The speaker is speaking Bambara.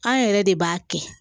An yɛrɛ de b'a kɛ